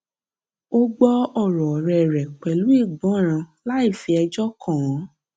ó gbọ ọrò ọrẹ rẹ pẹlú ìgbọràn láì fi ẹjọ kàn án